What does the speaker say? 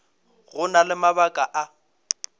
go na le mabaka a